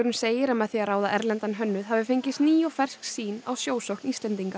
segir að með því að ráða erlendan hönnuð hafi fengist ný og fersk sýn á sjósókn Íslendinga